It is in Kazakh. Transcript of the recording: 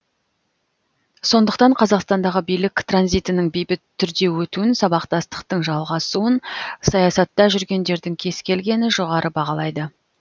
сондықтан қазақстандағы билік транзитінің бейбіт түрде өтуін сабақтастықтың жалғасуын саясатта жүргендердің кез келгені жоғары бағалайды